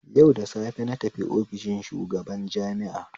Yau da safe natafi ofishin shugaban jami'a